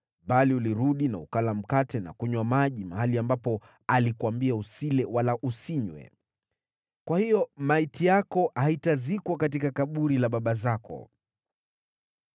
bali ulirudi na ukala mkate na kunywa maji mahali ambapo alikuambia usile wala usinywe. Kwa hiyo maiti yako haitazikwa katika kaburi la baba zako.’ ”